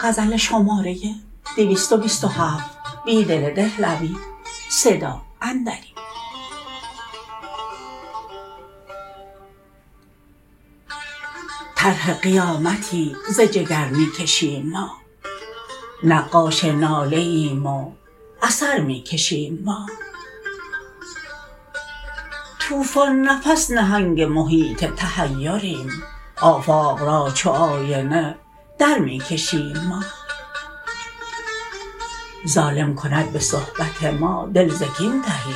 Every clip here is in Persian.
طرح قیامتی ز جگر می کشیم ما نقاش ناله ایم و اثر می کشیم ما توفان نفس نهنگ محیط تحیریم آفاق راچوآینه در می کشیم ما ظالم کند به صحبت ما دل زکین تهی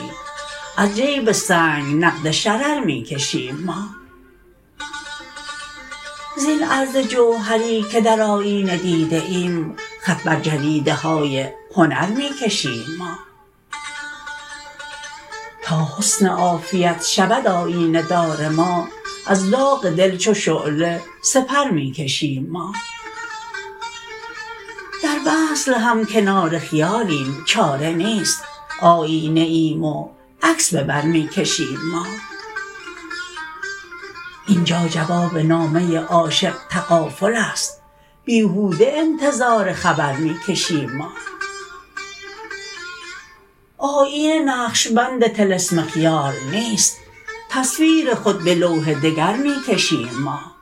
از جیب سنگ نقد شرر می کشیم ما زین عرض جوهری که درآیینه دیده ایم خط بر جریده های هنر می کشیم ما تا حسن عافیت شود آیینه دار ما از داغ دل چوشعله سپرمی کشیم ما در وصل هم کنار خیالیم چاره نیست آیینه ایم و عکس به بر می کشیم ما اینجا جواب نامه عاشق تغافل است بیهوده انتظار خبر می کشیم ما آیینه نقشبند طلسم خیال نیست تصویرخود به لوح دگرمی کشیم ما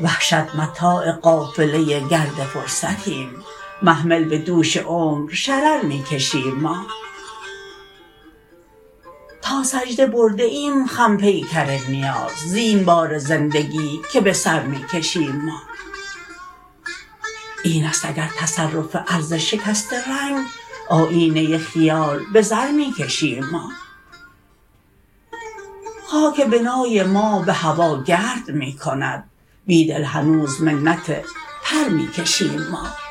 وحشت متاع قافله گرد فرصتیم محمل به دوش عمرشررمی کشیم ما تا سجده برده ایم خم پیکر نیاز زین بار زندگی که به سر می کشیم ما این است اگرتصرف عرض شکست رنگ آیینه خیال به زر می کشیم ما خاک بنای ما به هواگرد می کند بیدل هنوزمنت پرمی کشیم ما